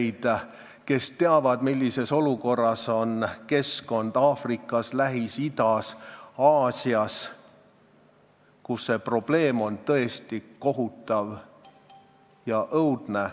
Siin on inimesi, kes teavad, millises olukorras on keskkond Aafrikas, Lähis-Idas ja mujal Aasias, kus see probleem on tõesti kohutav ja õudne.